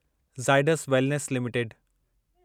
Zydus Wellness limited